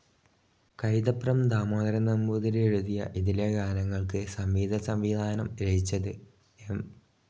കൈതപ്രം ദാമോദരൻ നമ്പൂതിരി എഴുതിയ ഇതിലെ ഗാനങ്ങൾക്ക് സംഗീതസംവിധാനം നിർവഹിച്ചത് എം.